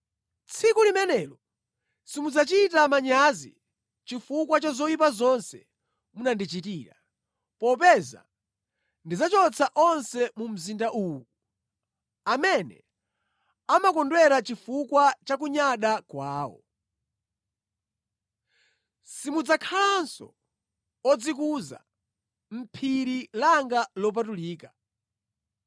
Tsiku limenelo simudzachita manyazi chifukwa cha zoyipa zonse munandichitira, popeza ndidzachotsa onse mu mzinda uwu amene amakondwera chifukwa cha kunyada kwawo. Simudzakhalanso odzikuza mʼphiri langa lopatulika.